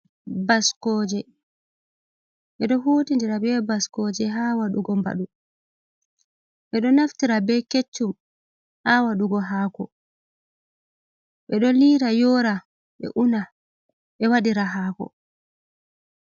Baskooje. Ɓe ɗo huutindira be baskooje haa waɗugo mbaɗu. Ɓe ɗo naftira be keccum haa waɗugo haako, ɓe ɗo liira, yora, ɓe una ɓe waɗira haako.